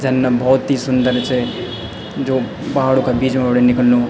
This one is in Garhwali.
झरना बहौत ही सुन्दर चे जो पहाड़ो का बीच मा बटे निकल्नु।